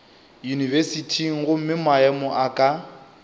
yunibesithing gomme maemo a ka